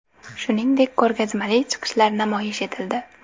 Shuningdek, ko‘rgazmali chiqishlar namoyish etildi.